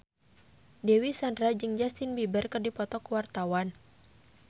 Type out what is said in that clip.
Dewi Sandra jeung Justin Beiber keur dipoto ku wartawan